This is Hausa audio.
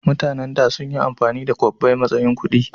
mutanen da sunyi amfani da kwabbai matsayin kudi